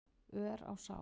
ör á sál.